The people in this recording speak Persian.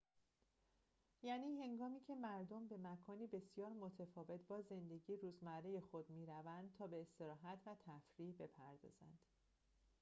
یعنی هنگامی‌که مردم به مکانی بسیار متفاوت با زندگی روزمره خود می‌روند تا به استراحت و تفریح بپردازند